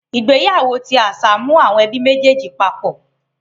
Ìgbéyàwó ti àṣà mu àwọn ẹbí méjèjì papọ̀.